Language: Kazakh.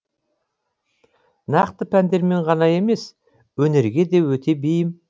нақты пәндерден ғана емес өнерге де өте бейім